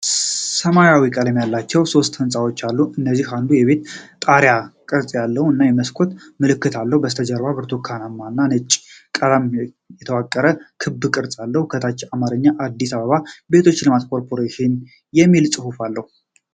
ሰማያዊ ቀለም ያላቸው ሶስት ህንጻዎች አሉ፤ ከነዚህ አንዱ የቤት ጣሪያ ቅርጽ ያለው እና የመስኮት ምልክት አለው። ከበስተጀርባ በብርቱካን እና በነጭ ቀለማት የተዋቀረ ክብ ቅርጽ አለ። ከታች በአማርኛ "አዲስ አበባ የቤቶች ልማት ኮርፖሬሽን" የሚል ጽሑፍ አለ።